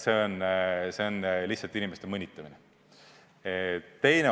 See on lihtsalt inimeste mõnitamine.